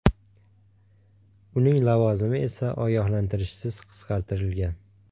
Uning lavozimi esa ogohlantirishsiz qisqartirilgan.